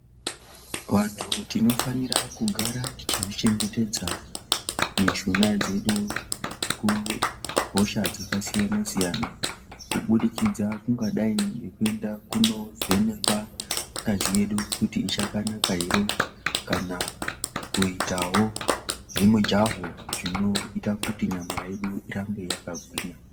Vantu tinofanira kugara tichizvi chengetedza mishuna dzedu kuhosha dzakasiyana-siyana kubudikidza kungadai ngekuenda kunovhenekwa ngazi yedu kuti ichakanaka here. Kana kuitawo zvemujaho zvinoita kuti nyama yedu irambe yakagwinya.